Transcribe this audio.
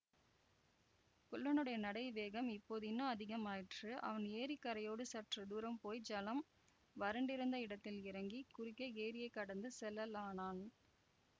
குள்ளனுடைய நடை வேகம் இப்போது இன்னும் அதிகமாயிற்று அவன் ஏரிக் கரையோடு சற்று தூரம் போய் ஜலம் வறண்டிருந்த இடத்தில் இறங்கி குறுக்கே ஏரியைக் கடந்து செல்லலானான்